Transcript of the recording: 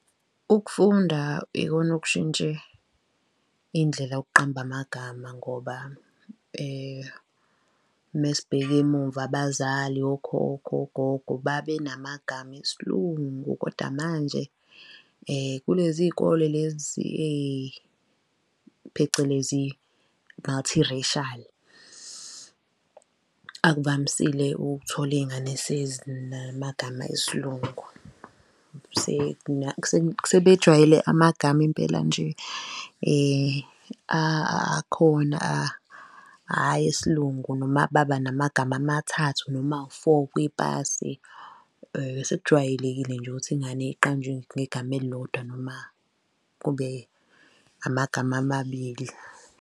Ukufunda ikona okushintshe indlela yokuqamba amagama ngoba mesibheka emumva abazali, okhokho, ogogo, babenamagama esiLungu kodwa manje kulezi izikole lezi phecelezi, multiracial, akuvamisile ukuthola iy'ngane esezinamagama esiLungu. Sebejwayele amagama impela nje akhona hhayi esiLungu, noma babanamagama amathathu, noma awu-four kwipasi, sekujwayelekile nje ukuthi ingane iqanjwe ngegama elilodwa noma kube amagama amabili.